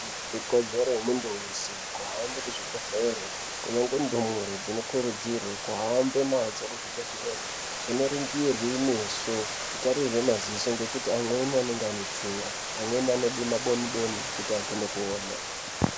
Ikodzero yemuntu weshe kuhambe kuzvibhedhlera kunyangwe ndumure dzinokurudzirwa kuhambe nadzo kuzvibhedhlera dzinoningirwe kumeso dzchitarirwe maziso ngekuti amweni anenge ane tsinga, amweni anode maboni boni kuti akone kuona.